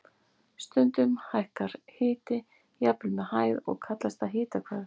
Stundum hækkar hiti jafnvel með hæð og kallast það hitahvörf.